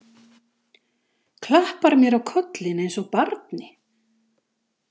Klappar mér á kollinn eins og barni.